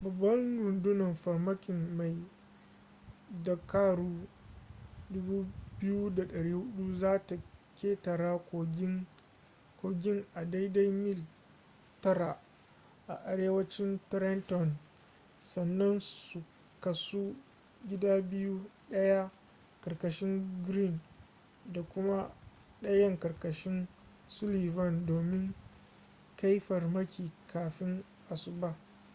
babbar rundunar farmakin mai dakaru 2,400 za ta ƙetara kogin a daidai mil 9 a arewacin trenton sannan su kasu gida biyu ɗaya ƙarƙashin greene da kuma ɗayan ƙarƙashin sullivan domin kai farmaki kafin asuba